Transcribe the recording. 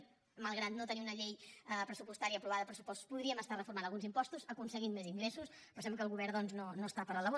malgrat no tenir una llei pressupostària aprovada uns pressupostos podríem estar reformant alguns impostos aconseguint més ingressos però sembla que el govern doncs no està per la labor